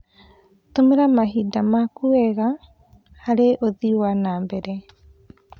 Tũmĩra mahinda maku wega harĩ ũthii wa na mbere.